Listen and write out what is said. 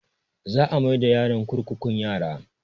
Za a mai da yaron kurkukun yara